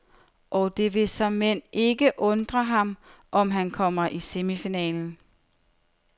Og det vil såmænd ikke undre ham, om han kommer i semifinalen.